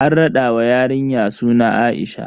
An raɗa wa yarinya suna A'isha.